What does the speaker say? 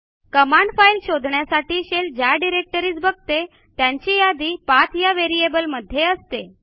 command file शोधण्यासाठी shell ज्या directories बघते त्यांची यादी पाठ या व्हेरिएबल मध्ये असते